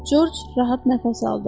Corc rahat nəfəs aldı.